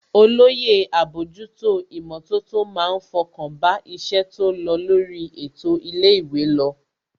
Olóyè àbójútó ìmọ̀tótó má ń fọkàn bá iṣẹ́ tó lọ lórí ètò ilé ìwé lọ